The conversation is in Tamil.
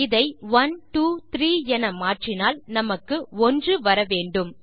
இதை 123 என மாற்றினால் நமக்கு 1 வர வேண்டும்